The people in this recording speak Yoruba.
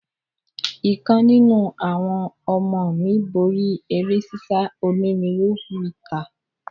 Ìkan nínú àwọn ọmọ mí borí eré sísá onírinwó mítà.